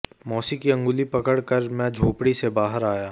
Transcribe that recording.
मौसी की अंगुली पकड़ कर मैं झोंपड़ी से बाहर आया